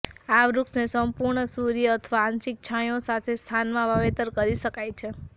આ વૃક્ષને સંપૂર્ણ સૂર્ય અથવા આંશિક છાંયો સાથે સ્થાનમાં વાવેતર કરી શકાય છે